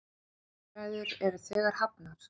Viðræður eru þegar hafnar.